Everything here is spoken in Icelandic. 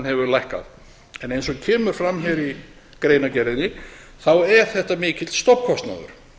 hefur lækkað eins og kemur fram hér í greinargerðinni er þetta mikill stofnkostnaður